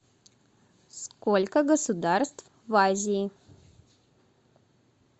сколько государств в азии